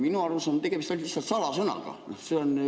Minu arust on tegemist lihtsalt salasõnaga.